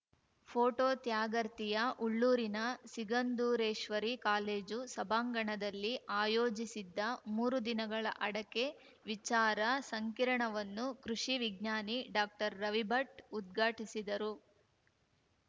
photo ತ್ಯಾಗರ್ತಿಯ ಉಳ್ಳೂರಿನ Sigandureshwari college ಸಭಾಂಗಣದಲ್ಲಿ ಆಯೋಜಿಸಿದ್ದ ಮೂರು ದಿನಗಳ ಅಡಕೆ ವಿಚಾರ ಸಂಕಿರಣವನ್ನು ಕೃಷಿ ವಿಜ್ಞಾನಿ ಡಾಕ್ಟರ್ರವಿಭಟ್‌ ಉದ್ಘಾಟಿಸಿದರು